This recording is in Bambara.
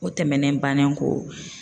O tɛmɛnen bannen kɔ